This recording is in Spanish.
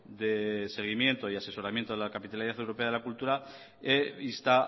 de seguimiento y asesoramiento de la capitalidad europea de la cultura e insta